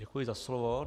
Děkuji za slovo.